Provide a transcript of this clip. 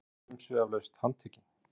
Var hann þá umsvifalaust handtekinn